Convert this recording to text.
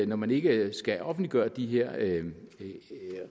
når man ikke skal offentliggøre de her